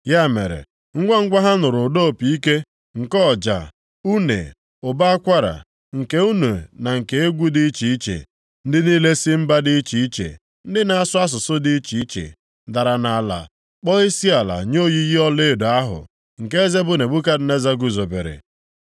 Ya mere, ngwangwa ha nụrụ ụda opi ike, nke ọja, une ụbọ akwara, nke une na nke egwu dị iche iche, ndị niile si mba dị iche iche, ndị na-asụ asụsụ dị iche iche, dara nʼala kpọọ isiala nye oyiyi ọlaedo ahụ, nke eze bụ Nebukadneza guzobere.